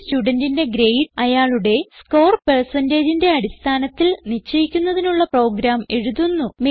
ഒരു studentന്റെ ഗ്രേഡ് അയാളുടെ സ്കോർ percentageന്റെ അടിസ്ഥാനത്തിൽ നിശ്ചയിക്കുന്നതിനുള്ള പ്രോഗ്രാം എഴുതുന്നു